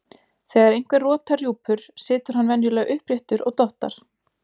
þegar einhver rotar rjúpur situr hann venjulega uppréttur og dottar